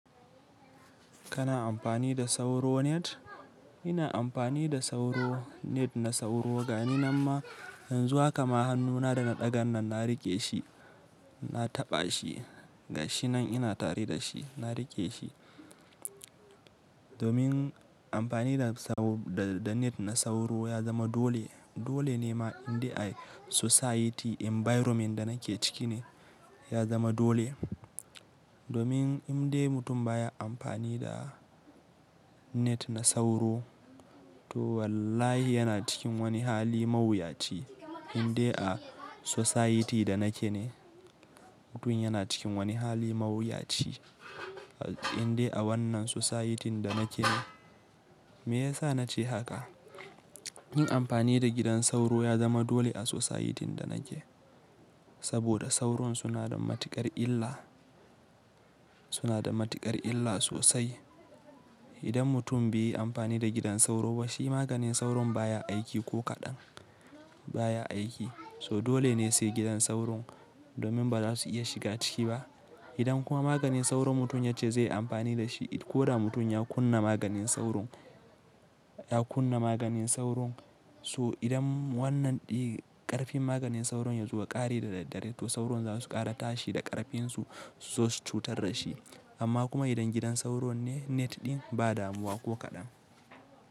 Kana amfani da sauro net? Ina amfani da sauro net na sauro gani, namma yanzu haka ma hannuna da na ɗagan nan na riƙe shi, na taɓa shi. Ga shi nan ina tare da shi, na riƙe shi. Domin amfani da sauro, da net na sauro ya zama dole. Dole ne ma inda a society environment da nake ciki ne ya zama dole. Domin in dai mutum baya amfani da net na sauro, to wallahi yana cikin wani hali mawuyaci. Inde a society da nake ne mutum yana cikin wani hali mawuyaci. Inda a wannan society da nake ne. Me yasa na ce haka? Yin amfani da gidan sauro ya zama dole a society da nake, saboda sauro suna da matuƙar illa, suna da matuƙar illa sosai. Idan mutum baiyi amfani da gidan sauro ba shi maganin sauron baya aiki ko kaɗan baya aiki, so dole ne sai gidan sauro domin baza su iya shiga ciki ba. Idan kuma maganin sauron mutum ya ce zai yi amfani da shi, ko da mutum ya kunna maganin sauron, ya kunna maganin sauron, so idan wannan ɗin ƙarfin maganin sauron ya zoya ƙare da daddare, to sauro za su ƙara tashi da ƙarfinsu suzosu cutar da shi. Amma kuma idan gidan sauro net ɗin ba damuwa ko kaɗan.